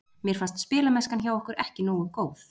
Mér fannst spilamennskan hjá okkur ekki nógu góð.